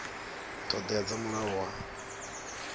ṱho ḓea dza mulayo wa